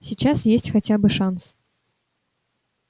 сейчас есть хотя бы шанс